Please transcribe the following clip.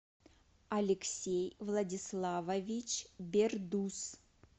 алексей владиславович бердус